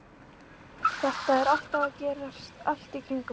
Þetta er alltaf að gerast allt í kringum okkur.